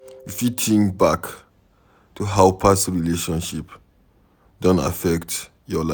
You fit think back to how your past relationship don affect your life